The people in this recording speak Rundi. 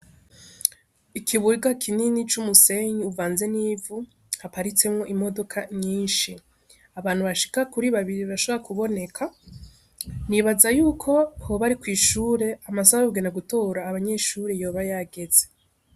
Ikibuga kinini c'umusenyi kivaze n'ivu haparitsemwo imodoka nyinshi abantu bashika kuri babiri bashobora kuboneka, nibaza yuko hoba ari kw'ishure amasaha yokuja gutora abanyeshure yoba yageze.